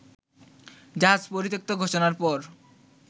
জাহাজ পরিত্যক্ত ঘোষণার পর